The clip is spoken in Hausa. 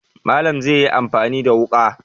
Malam zai yi amfani da wuƙa.